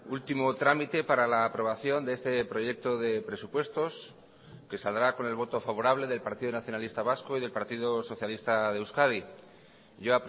último trámite para la aprobación de este proyecto de presupuestos que saldrá con el voto favorable del partido nacionalista vasco y del partido socialista de euskadi yo